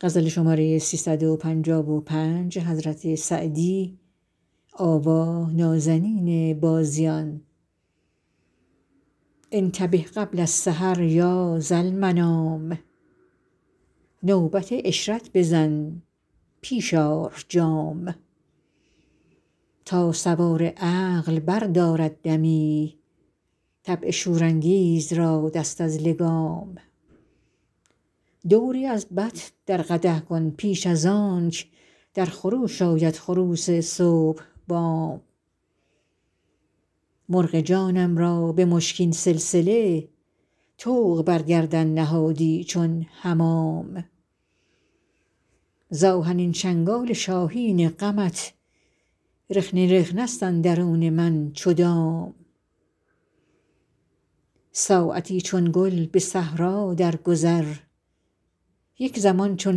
انتبه قبل السحر یا ذالمنام نوبت عشرت بزن پیش آر جام تا سوار عقل بردارد دمی طبع شورانگیز را دست از لگام دوری از بط در قدح کن پیش از آنک در خروش آید خروس صبح بام مرغ جانم را به مشکین سلسله طوق بر گردن نهادی چون حمام ز آهنین چنگال شاهین غمت رخنه رخنه ست اندرون من چو دام ساعتی چون گل به صحرا درگذر یک زمان چون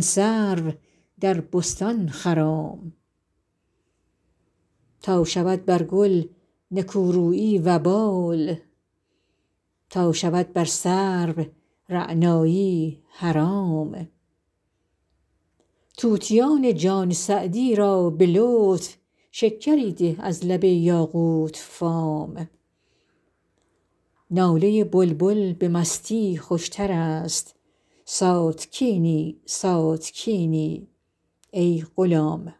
سرو در بستان خرام تا شود بر گل نکورویی وبال تا شود بر سرو رعنایی حرام طوطیان جان سعدی را به لطف شکری ده از لب یاقوت فام ناله بلبل به مستی خوشتر است ساتکینی ساتکینی ای غلام